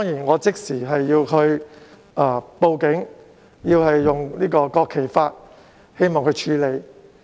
我即時向警方報案，希望他們以國旗法處理。